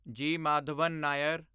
ਜੀ. ਮਾਧਵਨ ਨਾਇਰ